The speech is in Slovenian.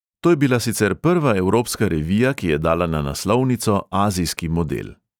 To je bila sicer prva evropska revija, ki je dala na naslovnico azijski model.